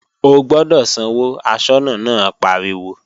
O gbọ́dọ̀ sanwó, aṣọ́nà náà pariwo!